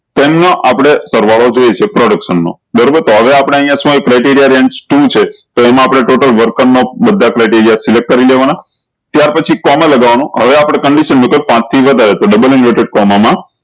તેમના આપળે સરવાળો જોઈસે production નો બરોબર તો હે આપળે અયીયા શું આયુ criteria range ટુ છે તો એમાં આપળે total worker નો બધા criteria કરી લેવાના ત્યાર પછી કોમા લાગવાનું હવે આપળે condition મુકો પાંચ થી વધારે તો ડબલ inverted કોમા મા